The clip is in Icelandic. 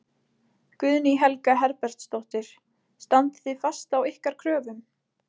Guðný Helga Herbertsdóttir: Standið þið fast á ykkar kröfum?